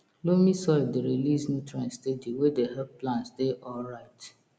loamy soil dey release nutrients steady wey dey help plants dey alright